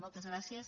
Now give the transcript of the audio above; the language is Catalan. moltes gràcies